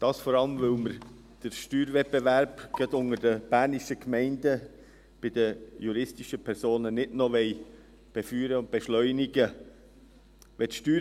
Dies vor allem, weil wir den Steuerwettbewerb bei den juristischen Personen, gerade unter den bernischen Gemeinden, nicht noch befeuern und beschleunigen wollen.